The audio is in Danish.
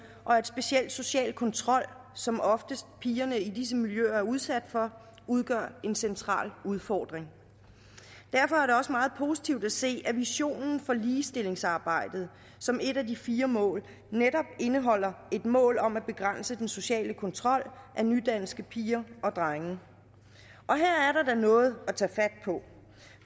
og at specielt social kontrol som oftest pigerne i disse miljøer er udsat for udgør en central udfordring derfor er det også meget positivt at se at visionen for ligestillingsarbejdet som et af de fire mål netop indeholder et mål om at begrænse den sociale kontrol af nydanske piger og drenge her er noget at tage fat på